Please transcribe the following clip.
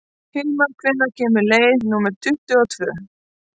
Hilmar, hvenær kemur leið númer tuttugu og tvö?